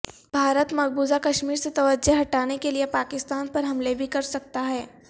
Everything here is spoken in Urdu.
بھارت مقبوضہ کشمیر سے توجہ ہٹانے کے لئے پاکستان پر حملے بھی کرسکتا ہے